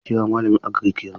Jeka kira malamin Agirik yanzu!